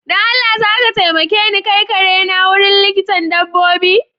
Don Allah zaka taimake ni kai kare na wurin likitan dabbobi?